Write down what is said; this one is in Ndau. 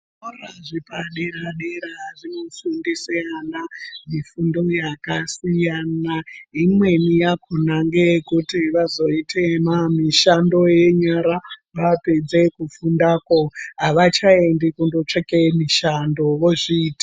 Zvikora zvepadera-dera zvinofundise ana mifundo yakasiyana imweni yakona ngeyekuti vazoite mishando yenyara vapedze kufundako avachaendi kundotsvake mishando vanonga vozviitira zviro zvawo.